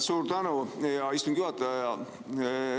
Suur tänu, hea istungi juhataja!